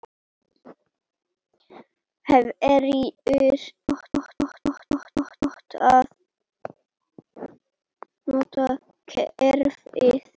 Hverjir geta notað kerfið?